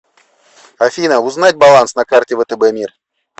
афина узнать баланс на карте втб мир